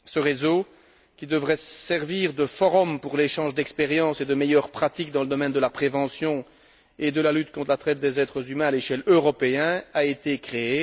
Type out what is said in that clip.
Ce réseau, qui devrait servir de forum pour l'échange d'expériences et de meilleures pratiques dans le domaine de la prévention et de la lutte contre la traite des êtres humains à l'échelle européenne, a été créé.